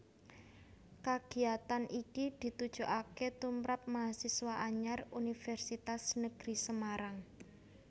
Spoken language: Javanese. Kagiyatan iki ditujokaké tumrap mahasiswa anyar Universitas Negeri Semarang